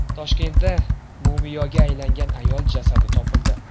Toshkentda mumiyoga aylangan ayol jasadi topildi.